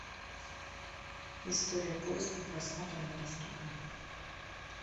история поиска просмотра недоступна